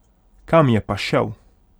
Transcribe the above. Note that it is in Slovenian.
Kam je pa šel?